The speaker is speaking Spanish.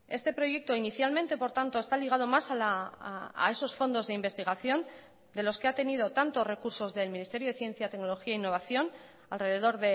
este proyecto inicialmente por tanto está ligado más a esos fondos de investigación de los que ha tenido tanto recursos del ministerio de ciencia tecnología e innovación alrededor